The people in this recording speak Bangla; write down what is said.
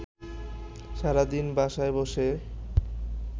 সারাদিন বাসায় বসে